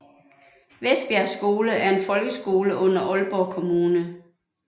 Vestbjerg Skole er en folkeskole under Aalborg Kommune